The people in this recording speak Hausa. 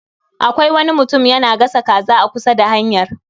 Akwai wani mutum yana gasa kaza a kusa da hanyar